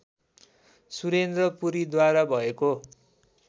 सुरेन्द्र पुरीद्वारा भएको